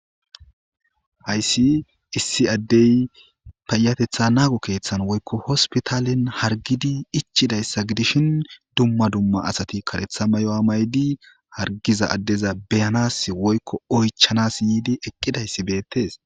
Haysi issi Adey payatetha nago kethani woyko hospitalen hargidi ichidaysa gidishn dumma dumma asati karetha mayuwa mayidi harigiza adeza beyanasi woyko oychansi yiidi eqidaysi betesi.